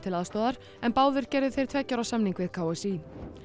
aðstoðarþjálfari en báðir gerðu þeir tveggja ára samning við k s í